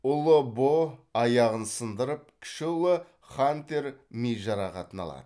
ұлы бо аяғын сындырып кіші ұлы хантер ми жарақатын алады